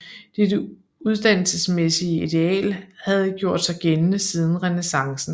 Dette uddannelsesmæssige ideal havde gjort sig gældende siden renæssancen